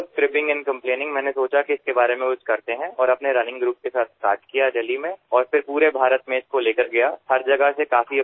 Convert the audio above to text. অভিযোগ দিয়াৰ পৰিৱৰ্তে মই চিন্তা কৰিলো যে এই সন্দৰ্ভত কিবা এটা কৰা যাওক আৰু আমাৰ ৰাণিং গ্ৰুপৰ সৈতে প্ৰথমে দিল্লীত আৰম্ভ কৰিলো আৰু পিছত সমগ্ৰ ভাৰতলৈ ইয়াক সম্প্ৰসাৰিত কৰিলো